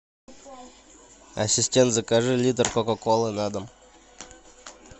ассистент закажи литр кока колы на дом